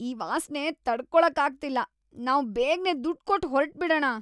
ಈ ವಾಸ್ನೆ ತಡ್ಕೊಳಕ್ಕಾಗ್ತಿಲ್ಲ. ನಾವ್ ಬೇಗ್ನೆ ದುಡ್ಡ್‌ ಕೊಟ್ಟು ಹೊರ್ಟ್‌ಬಿಡಣ.